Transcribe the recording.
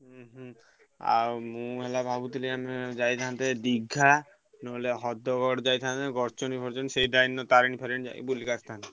ହୁଁ ହୁଁ ଆଉ ମୁଁ ହେଲା ଭାବୁଥିଲି ଆମେ ଯାଇଥାନ୍ତେ ଦୀର୍ଘା। ନହେଲେ ହ୍ରଦଘଡ ଯାଇଥାନ୍ତେ ସେଇ ରେ ତାରିଣୀ ଫାରିଣି ଯାଇ ବୁଲିକି ଆସିଥାନ୍ତେ।